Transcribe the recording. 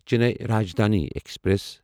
Chennai Rajdhani express